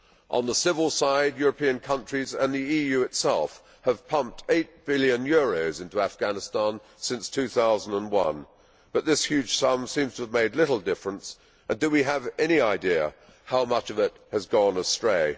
On the civil side, European countries and the EU itself have pumped EUR 8 billion into Afghanistan since 2001, but this huge sum seems to have made little difference do we have any idea how much of it has gone astray?